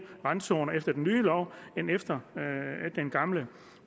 randzoner efter den nye lov end efter den gamle